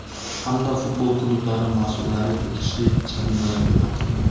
hamda futbol klublari mas’ullari tegishli jarimalarga tortilgan.